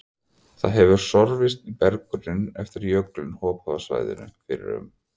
Það hefur sorfist í berggrunninn eftir að jökull hopaði af svæðinu fyrir um